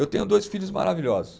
Eu tenho dois filhos maravilhosos.